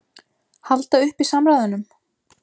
Halda uppi samræðunum?